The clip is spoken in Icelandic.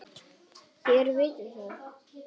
Þér vitið það.